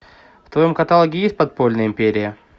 в твоем каталоге есть подпольная империя